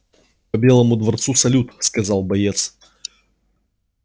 по белому дворцу салют сказал боец